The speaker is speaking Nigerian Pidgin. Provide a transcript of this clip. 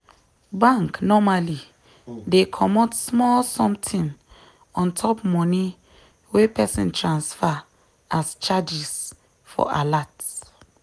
bank normally dey comot small sometin ontop money wey person transfer as charges for alert